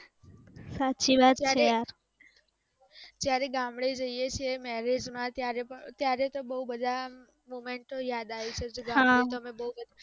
જ્યારે ગામડે જ્યે છે marriage માં ત્યારે તો બોવ બધા movement ઑ યાદ આવી જાય છે તમે બોવ